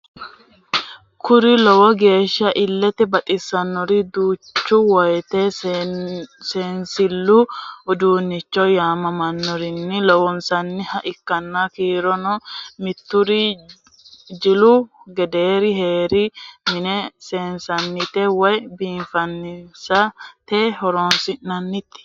Kuri lowo geeshsa illete baxissannori duucha woyite seensillu udunnicho yaamamannorinni loonsanniha ikkanna kurino mitur jilu gedeer heeriro mine seesisate woy biifisate horonsi'nanni.